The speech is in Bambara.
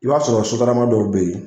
I b'a sɔrɔ sotarama dɔw bɛ ye